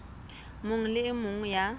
mong le e mong ya